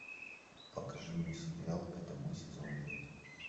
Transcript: покажи мне сериал это мы сезон пять